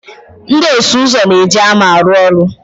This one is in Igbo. Ndị ọsụ ụzọ na-eji hama arụ ọrụ